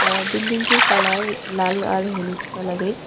অ্যা বিল্ডিংটির কালার লাল আর হলুদ কালারের।